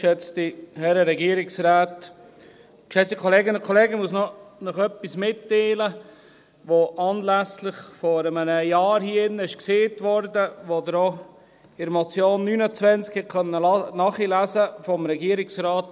Ich muss Ihnen noch etwas mitteilen, das vor einem Jahr hier in diesem Saal gesagt wurde und das Sie auch in der Motion 29 nachlesen konnten, vom Regierungsrat.